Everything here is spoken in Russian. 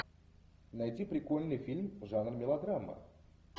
найди прикольный фильм жанр мелодрама